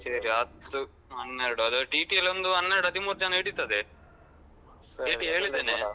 ಸೇರಿ ಹತ್ತು ಹನ್ನೆರಡು ಆದ್ರೆ TT ಅಲ್ಲಿ ಒಂದು ಹನ್ನೆರಡ್ ಹದಿಮೂರು ಜನ ಹಿಡಿತದೆ TT ಹೇಳಿದ್ದೇನೆ.